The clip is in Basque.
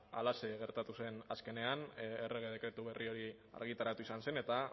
halaxe gertatu zen azkenean errege dekretu berri hori argitaratu izan zen eta